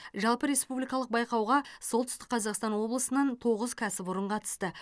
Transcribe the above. жалпы республикалық байқауға солтүстік қазақстан облысынан тоғыз кәсіпорын қатысты